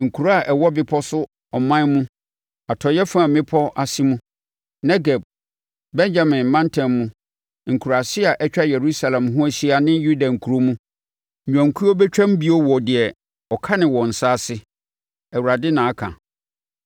Nkuro a ɛwɔ bepɔ so ɔman mu, atɔeɛ fam mmepɔ ase mu, Negeb, Benyamin mantam mu, nkuraase a atwa Yerusalem ho ahyia ne Yuda nkuro mu, nnwankuo bɛtwam bio wɔ deɛ ɔkane wɔn nsa ase.’ Awurade, na aka.